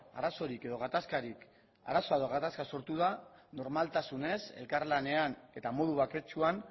edo gatazka sortu da normaltasunez elkarlanean eta modu baketsuan